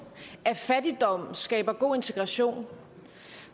at fattigdom skaber god integration